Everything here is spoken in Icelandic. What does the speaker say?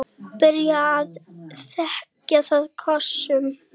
Byrjar að þekja það kossum.